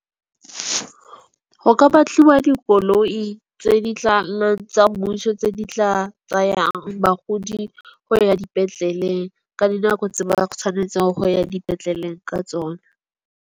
Go ka batliwa dikoloi tse di tlang tsa mmuso tse di tla tsayang bagodi go ya dipetlele, ka dinako tse ba tshwanetseng go ya dipetlele ka tsona.